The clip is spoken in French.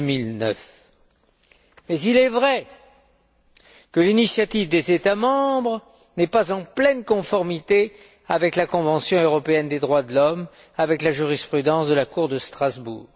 2009. Mais il est vrai que l'initiative des États membres n'est pas en pleine conformité avec la Convention européenne des droits de l'homme, avec la jurisprudence de la Cour de Strasbourg.